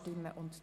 Optimierung